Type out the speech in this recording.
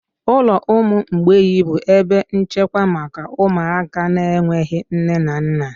Ụlọ ụmụ mgbei bụ ebe nchekwa maka ụmụaka na-enweghị nne na nna.